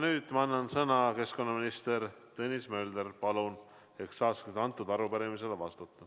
Nüüd ma annan sõna keskkonnaminister Tõnis Möldrile, et ta saaks arupärimisele vastata.